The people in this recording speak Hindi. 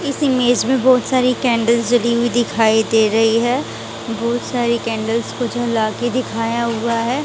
इस इमेज में बहुत सारी कैंडल्स जली हुई दिखाई दे रही है बहुत सारी कैंडल्स को जला के दिखाया हुआ है।